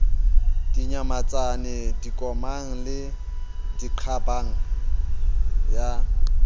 dinyamatsane dikomang le diqabang ya